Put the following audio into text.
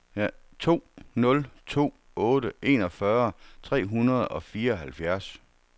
to nul to otte enogfyrre tre hundrede og fireoghalvfjerds